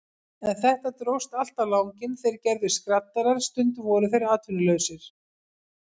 En þetta dróst allt á langinn, þeir gerðust skraddarar, stundum voru þeir atvinnulausir.